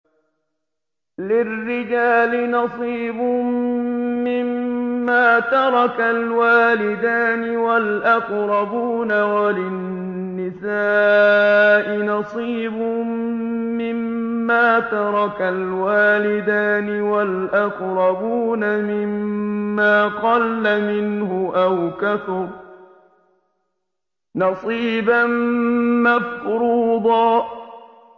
لِّلرِّجَالِ نَصِيبٌ مِّمَّا تَرَكَ الْوَالِدَانِ وَالْأَقْرَبُونَ وَلِلنِّسَاءِ نَصِيبٌ مِّمَّا تَرَكَ الْوَالِدَانِ وَالْأَقْرَبُونَ مِمَّا قَلَّ مِنْهُ أَوْ كَثُرَ ۚ نَصِيبًا مَّفْرُوضًا